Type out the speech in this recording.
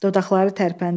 Dodaqları tərpəndi.